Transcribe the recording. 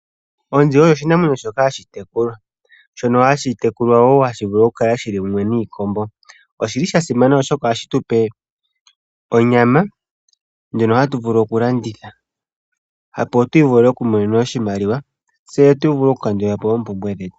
Onzi oyo oshinamwenyo shoka hashi tekulwa wo, hashi vulu okukala mumwe niikombo. Oshi li sha simana oshoka ohashi tu pe onyama, ndjono hatu vulu okulanditha opo tu imonene oshimaliwa. Tse tu vule okukandula po oompumbwe dhetu.